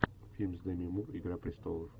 фильм с деми мур игра престолов